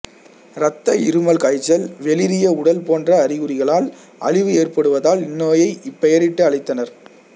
இரத்த இருமல் காய்ச்சல் வெளிறிய உடல் போன்ற அறிகுறிகளால் அழிவு ஏற்படுவதால் இநோயை இப்பெயரிட்டு அழைத்தனர்